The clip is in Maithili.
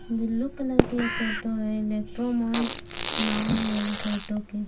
ब्लू कलर ई टोटो है इलेक्ट्रो मौंट नाम है इ टोटो के--